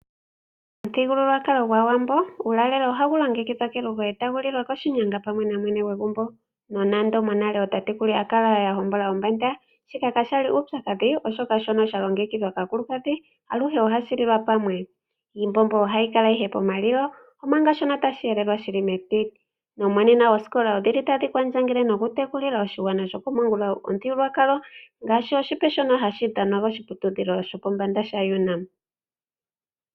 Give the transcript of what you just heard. Momithigululwakalo gwAawambo uulalelo ohawu longekidhilwa kelugo e ta wu lilwa koshinyanga pamwe namwene gwegumbo. Nonando monale ootatekulu ya kala ya hokana ombanda, shika ka shali uupyakadhi oshoka shono sha longekidhwa kaakulukadhi aluhe ohashi lilwa pamwe. Iimbombo ohayi kala ihe pomalilo, omanga shono tashi helelwa shili metiti. Nomonena oosikola odhili tadhi kwandjangele nokutekulila oshigwana shokomangula omuthigululwakalo, ngaashi oshipe shono hashi dhanwa koshiputudhilo shop shopombanda sha UNAM.